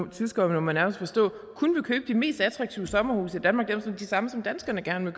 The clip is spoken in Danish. tyskere må man nærmest forstå kun vil købe de mest attraktive sommerhuse i danmark altså de samme som danskerne gerne